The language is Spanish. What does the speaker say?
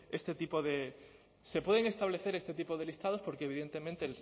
este tipo de se pueden establecer este tipo de listados porque evidentemente